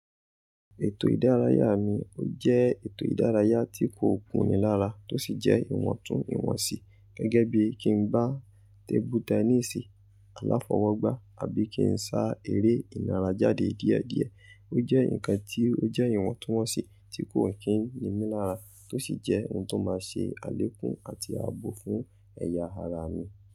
Ètò ìdárayá mi ó jẹ́ ètò ìdárayá tí kò kúni lára tó sì jẹ́ ìwọ̀ntún ìwọ̀n sí. Gẹ́gẹ́ bí i kí n gbá tébú tẹníìsì aláfọwọ́gbá àbí kí n sá eré ìnára jáde díẹ̀díẹ̀. Ó jẹ́ ǹkan tí ó jẹ́ ìwọ̀ntúnwọ̀nsì tí kò kí ń ní mí lára tó sì jẹ́ ohun tó máa ṣe àlékún àti ààbò fún ẹ̀yà ara mi.